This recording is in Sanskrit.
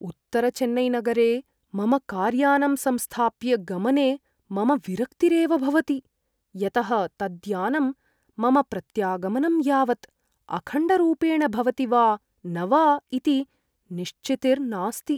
उत्तरचेन्नैनगरे मम कार्यानम् संस्थाप्य गमने मम विरक्तिरेव भवति, यतः तद्यानं मम प्रत्यागमनं यावत् अखण्डरूपेण भवति वा न वा इति निश्चितिर्नास्ति।